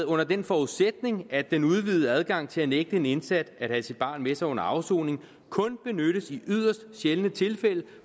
under den forudsætning at den udvidede adgang til at nægte en indsat at have sit barn med sig under afsoningen kun benyttes i yderst sjældne tilfælde